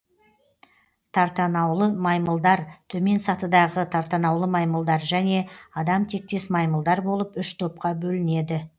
тартанаулы маймылдар төмен сатыдағы тартанаулы маймылдар және адам тектес маймылдар болып үш топқа бөлінеді